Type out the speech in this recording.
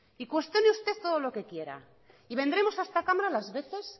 y cuestione usted todo lo que quiera y vendremos a esta cámara las veces